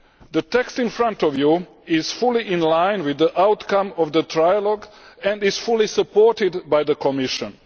The text in front of you is fully in line with the outcome of the trilogue and is fully supported by the Commission.